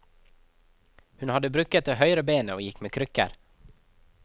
Hun hadde brukket det høyre benet og gikk med krykker.